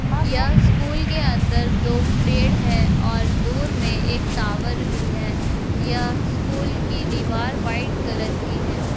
यह स्कूल के अंदर दो पेड़ हैं और दूर में एक टॉवर भी है | यह स्कूल की दीवार वाइट कलर की है।